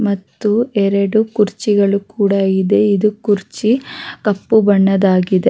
ಮತ್ತು ಎರಡು ಕುರ್ಚಿಗಳು ಕೂಡ ಇದೆ ಇದು ಕುರ್ಚಿ ಕಾಪು ಬಣ್ಣದಾಗಿದೆ.